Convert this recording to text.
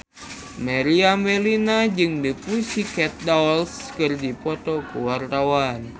Meriam Bellina jeung The Pussycat Dolls keur dipoto ku wartawan